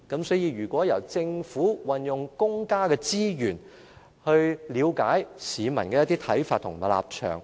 所以，如果由政府運用公家資源，去了解市民的看法和立場。